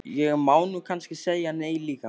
Ég má nú kannski segja nei líka.